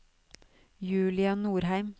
Julia Nordheim